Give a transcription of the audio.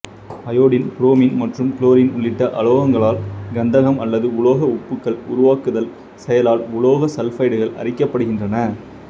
iodine bromine மற்றும் chlorine உள்ளிட்ட அலோகங்களால் கந்தகம் அல்லது உலோக உப்புகள் உருவாக்குதல் செயலால் உலோக சல்பைடுகள் அரிக்கப்படுகின்றன